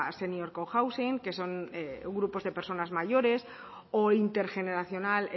senior cohousing que son grupos de personas mayores o intergeneracional